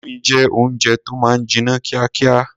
Indomie jẹ́ oúnjẹ tó máa ń jiná kíákíá.